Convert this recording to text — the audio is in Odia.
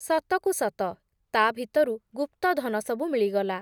ସତକୁ ସତ, ତା’ ଭିତରୁ ଗୁପ୍ତଧନ ସବୁ ମିଳିଗଲା ।